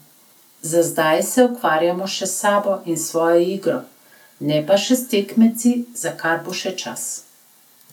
Za zdaj se ukvarjamo še s sabo in s svojo igro, ne pa še s tekmeci, za kar bo še čas.